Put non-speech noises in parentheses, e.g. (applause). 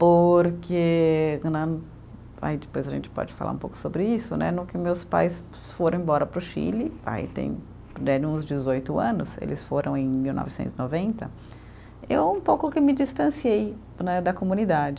Porque né, aí depois a gente pode falar um pouco sobre isso, né, no que meus pais foram embora para o Chile, aí tem (unintelligible) uns dezoito anos, eles foram em mil novecentos e noventa, eu um pouco que me distanciei né da comunidade.